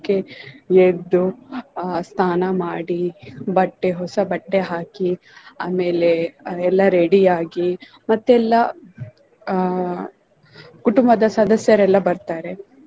ಎದ್ದು ಆಹ್ ಸ್ನಾನ ಮಾಡಿ ಬಟ್ಟೆ ಹೊಸ ಬಟ್ಟೆ ಹಾಕಿ ಆಮೇಲೆ ಅದೆಲ್ಲಾ ready ಆಗಿ ಮತ್ತೆ ಎಲ್ಲಾ ಆಹ್ ಆಹ್ ಕುಟುಂಬದ ಸದಸ್ಯರೆಲ್ಲ ಬರ್ತಾರೆ.